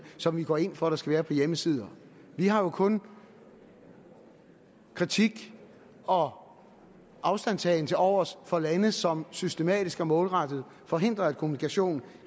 som vi går ind for at der skal være på hjemmesider vi har jo kun kritik og afstandtagen tilovers for lande som systematisk og målrettet forhindrer at kommunikation